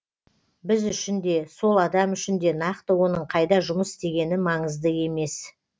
біз үшін де сол адам үшін де нақты оның қайда жұмыс істегені маңызды емес